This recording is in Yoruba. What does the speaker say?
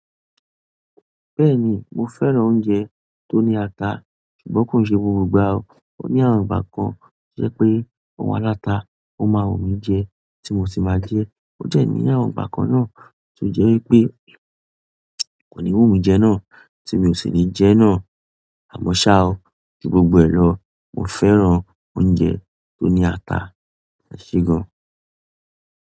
Bẹ́ẹ̀ni mo fẹ́ràn oúnjẹ tó ní ata, ṣùgbọ́n kò ń ṣe gbogbo ìgbà o. Ó ní àwọn ìgbà kan toje pé ọ̀un aláta ó máa wù n mí jẹ tí mo sì máa jẹ ẹ́. Ó dẹ́ ní àwọn ìgbà kan náà tó jẹ́ wípé kò ní wù n mí jẹ náà tí mi ò sì ní jẹ ẹ́ náà. Àmọ́ ṣá o, ju gbogbo ẹ lọ, mo fẹ́ràn oúnjẹ tó ní ata, eṣé gan.